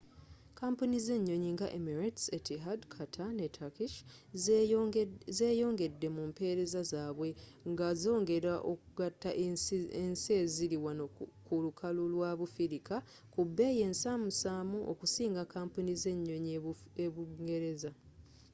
kampuni z'enyonyi nga emirates etihad qatar ne turkish zeyongedde mu mpereza zabwe nga z'ongela okugatta ensi eziri wano ku lukalu lwa bufirika ku bbeyi ensamusamu okusinga kampuni z'enyonyi e bungereza